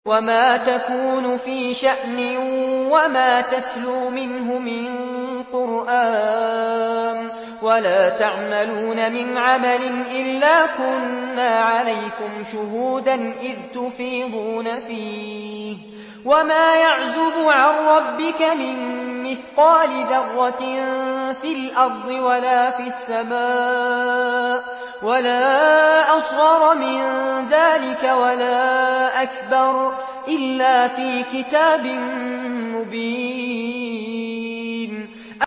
وَمَا تَكُونُ فِي شَأْنٍ وَمَا تَتْلُو مِنْهُ مِن قُرْآنٍ وَلَا تَعْمَلُونَ مِنْ عَمَلٍ إِلَّا كُنَّا عَلَيْكُمْ شُهُودًا إِذْ تُفِيضُونَ فِيهِ ۚ وَمَا يَعْزُبُ عَن رَّبِّكَ مِن مِّثْقَالِ ذَرَّةٍ فِي الْأَرْضِ وَلَا فِي السَّمَاءِ وَلَا أَصْغَرَ مِن ذَٰلِكَ وَلَا أَكْبَرَ إِلَّا فِي كِتَابٍ مُّبِينٍ